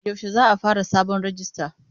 Yaushe za a fara sabon rijista?